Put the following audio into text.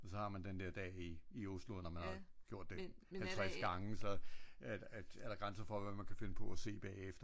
Og så har man den der dag i Oslo når man har gjort det 50 gange så er der grænser for hvad man kan finde på at se bagefter